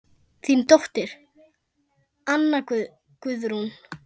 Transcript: Þín dóttir, Anna Guðrún.